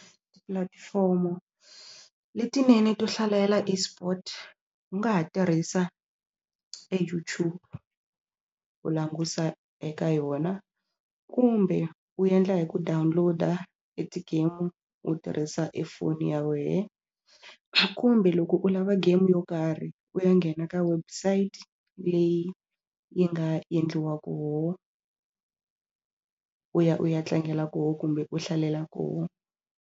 Tipulatifomo letinene to hlalela eSport u nga ha tirhisa e YouTube u languta eka yona kumbe u endla hi ku download-a e ti-game u tirhisa e foni ya wena kumbe loko u lava game yo karhi u ya nghena ka website leyi yi nga endliwa ku u ya u ya tlangela kona kumbe u hlalela kona.